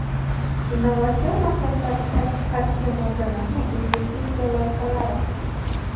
innovatsion mahsulotlar ishlab chiqarishga mo‘ljallangan investisiya loyihalari;.